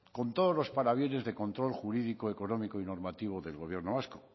con todos los parabienes de control jurídico económico y normativo del gobierno vasco